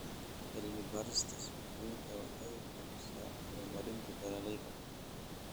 Cilmi-baarista suuqgeyntu waxay hubisaa horumarinta beeralayda.